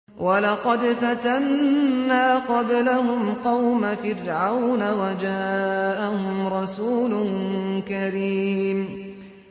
۞ وَلَقَدْ فَتَنَّا قَبْلَهُمْ قَوْمَ فِرْعَوْنَ وَجَاءَهُمْ رَسُولٌ كَرِيمٌ